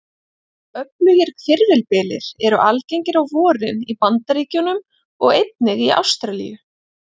Öflugir hvirfilbyljir eru algengir á vorin í Bandaríkjunum og einnig í Ástralíu.